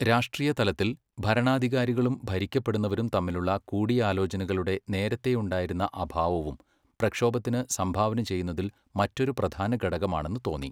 രാഷ്ട്രീയതലത്തിൽ, ഭരണാധികാരികളും ഭരിക്കപ്പെടുന്നവരും തമ്മിലുള്ള കൂടിയാലോചനകളുടെ നേരത്തെയുണ്ടായിരുന്ന അഭാവവും പ്രക്ഷോഭത്തിന് സംഭാവന ചെയ്യുന്നതിൽ മറ്റൊരു പ്രധാനഘടകമാണെന്ന് തോന്നി.